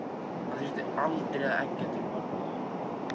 Hann þurfti aldrei að eggja til bardaga.